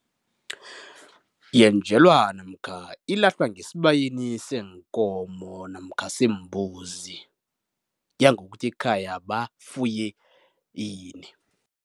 Yenjelwa namkha ilahlwa ngesibayeni seenkomo namkha seembuzi, kuya ngokuthi ekhaya bafuye ini.